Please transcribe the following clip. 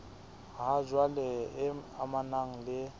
ha jwale e amanang le